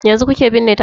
Yanzu kuke binne ta ne?